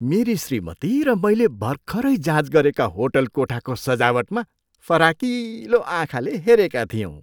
मेरी श्रीमती र मैले भर्खरै जाँच गरेका होटल कोठाको सजावटमा फराकिलो आँखाले हेरेका थियौँ।